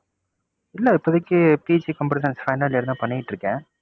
இல்ல இப்போதைக்கு PG computer science final year தான் பண்ணிட்டுருக்கேன்.